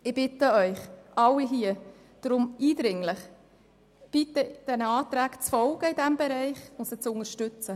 Ich bitte Sie daher eindringlich, den Anträgen in diesem Bereich zu folgen.